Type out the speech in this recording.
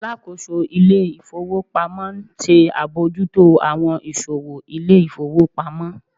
Alákóso ilé ifowópamọ́ n ṣe abojuto awọn iṣowo ilé ifowópamọ́